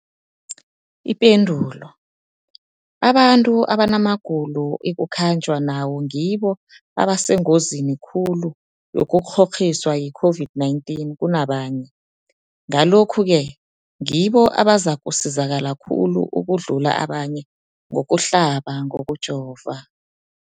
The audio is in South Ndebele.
Ipendulo, abantu abanamagulo ekukhanjwa nawo ngibo abasengozini khulu yokukghokghiswa yi-COVID-19 kunabanye, Ngalokhu-ke ngibo abazakusizakala khulu ukudlula abanye ngokuhlaba, ngokujova.